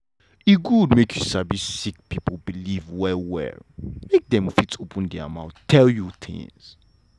e good make you sabi sick pipo believe well well make dem fit open mouth tell you tins.